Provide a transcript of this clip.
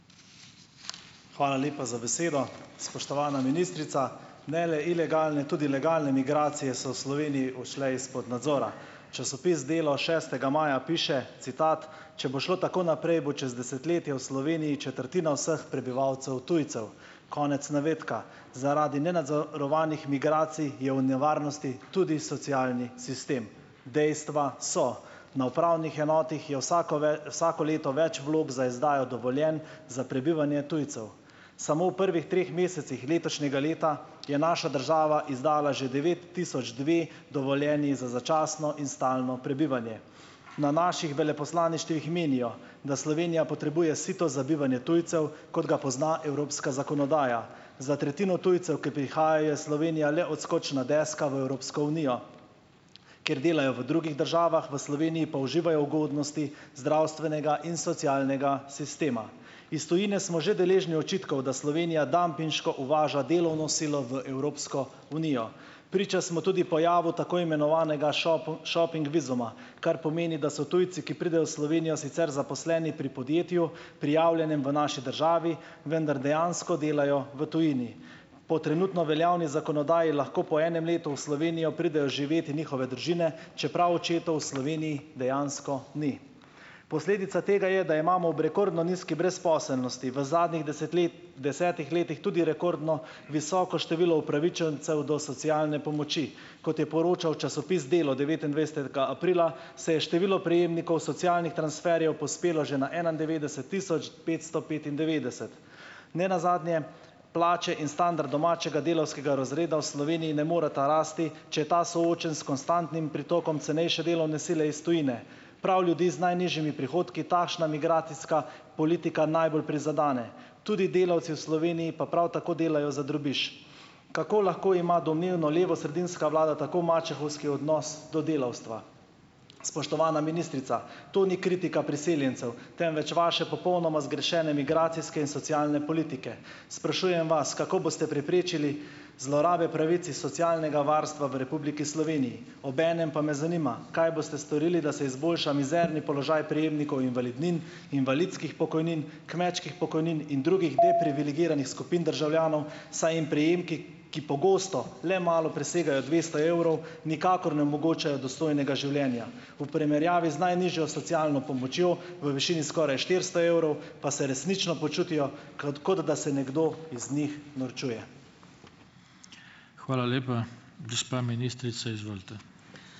Hvala lepa za besedo. Spoštovana ministrica! Ne le ilegalne, tudi legalne migracije so Sloveniji ušle izpod nadzora. Časopis Delo šestega maja piše, citat: "Če bo šlo tako naprej, bo čez desetletje v Sloveniji četrtina vseh prebivalcev tujcev." Konec navedka. Zaradi nenadzorovanih migracij je v nevarnosti tudi socialni sistem. Dejstva so. Na upravnih enotah je vsako vsako leto več vlog za izdajo dovoljenj za prebivanje tujcev. Samo v prvih treh mesecih letošnjega leta je naša država izdala že devet tisoč dve dovoljenji za začasno in stalno prebivanje. Na naših veleposlaništvih menijo, da Slovenija potrebuje sito za bivanje tujcev, kot ga pozna evropska zakonodaja. Za tretjino tujcev, ki prihajajo, je Slovenija le odskočna deska v Evropsko unijo, kjer delajo v drugih državah, v Sloveniji pa uživajo ugodnosti zdravstvenega in socialnega sistema. Iz tujine smo že deležni očitkov, da Slovenija dampinško uvaža delovno silo v Evropsko unijo. Priča smo tudi pojavu tako imenovanega šoping vizuma. Kar pomeni, da so tujci, ki pridejo v Slovenijo, sicer zaposleni pri podjetju, prijavljenem v naši državi, vendar dejansko delajo v tujini. Po trenutno veljavni zakonodaji lahko po enem letu v Slovenijo pridejo živet njihove družine, čeprav očetov v Sloveniji dejansko ni. Posledica tega je, da imamo ob rekordno nizki brezposelnosti v zadnjih desetih letih tudi rekordno visoko število upravičencev do socialne pomoči. Kot je poročal časopis Delo devetindvajsetega aprila, se je število prejemnikov socialnih transferjev povzpelo že na enaindevetdeset tisoč petsto petindevetdeset. Ne nazadnje plače in standard domačega delavskega razreda v Sloveniji ne moreta rasti, če je ta soočen s konstantnim pritokom cenejše delovne sile iz tujine. Prav ljudi z najnižjimi prihodki takšna migracijska politika najbolj prizadene. Tudi delavci v Sloveniji pa prav tako delajo za drobiž. Kako lahko ima domnevno levo sredinska vlada tako mačehovski odnos do delavstva. Spoštovana ministrica, to ni kritika priseljencev, temveč vaše popolnoma zgrešene migracijske in socialne politike. Sprašujem vas, kako boste preprečili zlorabe pravic iz socialnega varstva v Republiki Sloveniji? Obenem pa me zanima, kaj boste storili, da se izboljša mizerni položaj prejemnikov invalidnin, invalidskih pokojnin, kmečkih pokojnin in drugih deprivilegiranih skupin državljanov, saj jim prejemki, ki pogosto le malo presegajo dvesto evrov, nikakor ne omogočajo dostojnega življenja v primerjavi z najnižjo socialno pomočjo v višini skoraj štiristo evrov, pa se resnično počutijo, kot kot da se nekdo iz njih norčuje.